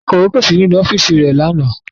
Akọ̀wé kò sí nínú ọ́fíìsì rẹ̀ lánàá